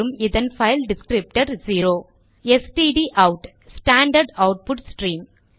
இதன் file descriptor 0 stdout standard output stream